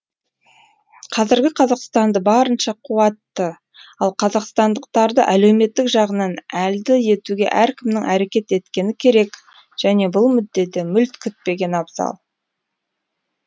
қазіргі қазақстанды барынша қуатты ал қазақстандықтарды әлеуметтік жағынан әлді етуге әркімнің әрекет еткені керек және бұл мүддеде мүлт кетпеген абзал